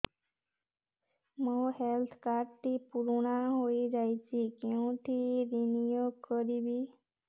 ମୋ health card ଟି ପୁରୁଣା ହେଇଯାଇଛି କେଉଁଠି ରିନିଉ କରିବି